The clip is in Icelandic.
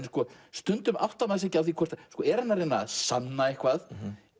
stundum áttar maður sig ekki á er hann að reyna að sanna eitthvað